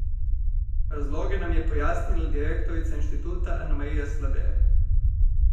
Razloge nam je pojasnila direktorica Inštituta Anamarija Slabe.